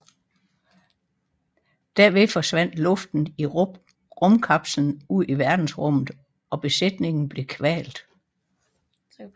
Derved forsvandt luften i rumkapslen ud i verdensrummet og besætningen blev kvalt